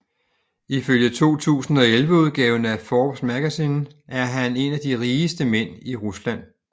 Ifølge 2011 udgaven af Forbes Magazine er han en af de rigeste mænd i Rusland